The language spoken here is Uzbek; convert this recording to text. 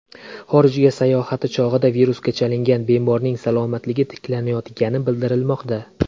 Xorijga sayohati chog‘ida virusga chalingan bemorning salomatligi tiklanayotgani bildirilmoqda.